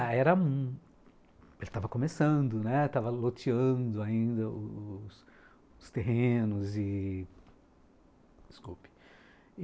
Ah, era... Ele estava começando, né, estava loteando ainda os os terrenos e... Desculpe.